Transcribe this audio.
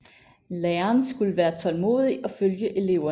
Læren skulle være tålmodig og følge eleverne